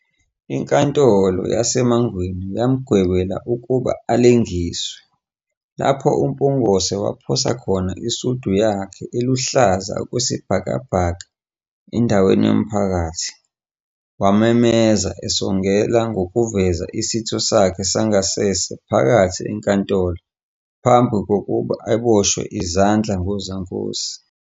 Inkatholo yaseMangweni yamgwebela ukuba alengiswe, lapho uMpungose waphosa khona isudi yakhe eluhlaza okwesibhakabhaka endaweni yomphakathi, wamemeza, esongela ngokuveza isitho sakhe sangasese phakathi enkantolo ngaphambi kokuba aboshwe izandla ngozankosi.